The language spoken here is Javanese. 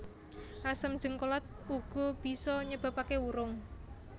Asam jéngkolat uga bisa nyebabaké wurung